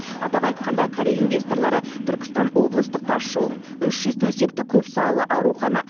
атап айтқанда корея инвесторлары түркістан облыстық тасжолын үш жүз төсектік көпсалалы аурухана